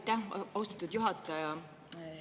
Aitäh, austatud juhataja!